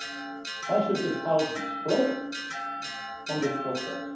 on. Why should this House be split on this process?